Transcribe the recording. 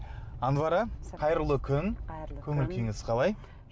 анвара қайырлы күн көңіл күйіңіз қалай